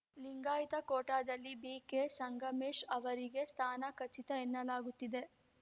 ಲಿಂಗಾಯತ ಕೋಟಾದಲ್ಲಿ ಬಿಕೆಸಂಗಮೇಶ್‌ ಅವರಿಗೆ ಸ್ಥಾನ ಖಚಿತ ಎನ್ನಲಾಗುತ್ತಿದೆ